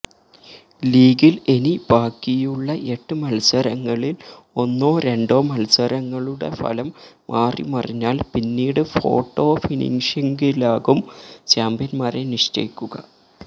ലീഗില് ഇനി ബാക്കിയുള്ള എട്ട് മത്സരങ്ങളില് ഒന്നോ രണ്ടോ മത്സരങ്ങളുടെ ഫലം മാറിമറിഞ്ഞാല് പിന്നീട് ഫോട്ടോ ഫിനിഷിംഗിലാകും ചാമ്പ്യന്മാരെ നിശ്ചയിക്കുക